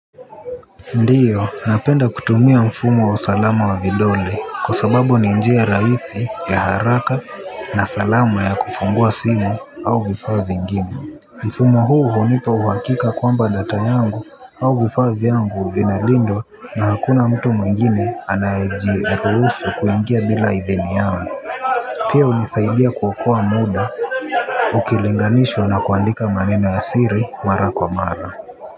Ndiyo napenda kutumia mfumo wa salama wa vidole kwa sababu ni njia rahisi ya haraka na salama ya kufungua simu au vifaa vingine mfumo huu hunipa uhakika kwamba data yangu au vifaa vyangu vinalindwa na hakuna mtu mwingine anayejiruhusu kuingia bila idhini yangu pia unisaidia kuokoa muda ukilinganishwa na kuandika maneno ya siri mara kwa mara.